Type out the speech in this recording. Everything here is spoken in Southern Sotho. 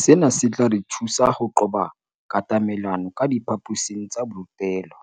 "Sena se tla re thusa ho qoba katamelano ka diphaposing tsa borutelo